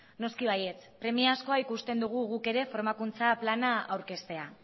noski baietz premiazkoa ikusten dugu guk ere formakuntza plana aurkeztea